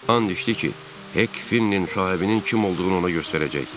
And içdi ki, Hek Finnenin sahibinin kim olduğunu ona göstərəcək.